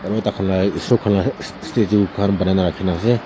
aru tah khan laga eshor khan laga is statue khan banai na rakhi na ase.